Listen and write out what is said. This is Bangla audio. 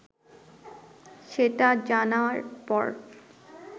সেটা জানার পর